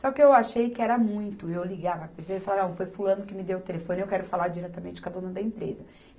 Só que eu achei que era muito, eu ligar para a pessoa ia falar, foi fulano que me deu o telefone, eu quero falar diretamente com a dona da empresa.